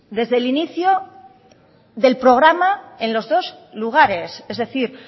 desde el inicio del programa en los dos lugares es decir